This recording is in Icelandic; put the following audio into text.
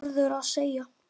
Hvað á norður að segja?